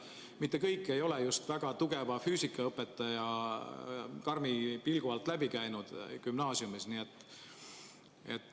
Mitte kõik ei ole gümnaasiumis väga tugeva füüsikaõpetaja karmi pilgu alt läbi käinud.